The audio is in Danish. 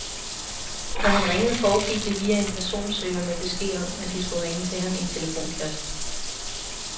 Når han ringede foregik det via en personsøger med besked om at de skulle ringe til ham i en telefonkiosk.